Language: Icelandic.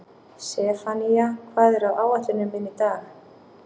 Sefanía, hvað er á áætluninni minni í dag?